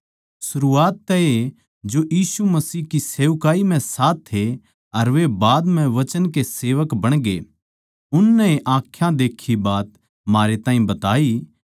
सरूआत तै ए जो यीशु मसीह की सेवकाई म्ह साथ थे अर वे बाद म्ह वचन के सेवक बणगे उननै ए आँखां देक्खी बात म्हारे ताहीं बताई